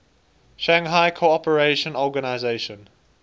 shanghai cooperation organization